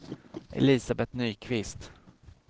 Elisabeth Nyqvist